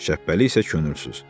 Şəhbəli isə könülsüz.